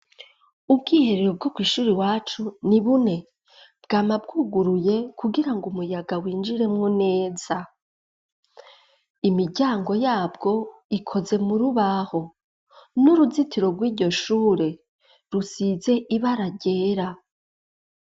Ubwiherero bwo kw'ishuri iwacu ni bune, bwama bwuguruye kugira ngo umuyaga winjiremwo neza, imiryango yabwo ikoze mu rubaho, n'uruzitiro rw'iryo shure rusize ibara ryera.